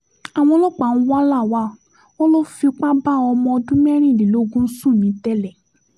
àwọn ọlọ́pàá ń wá lawal wọn lọ fipá bá ọmọ ọdún mẹ́rìnlélógún sùn nìtẹ̀lé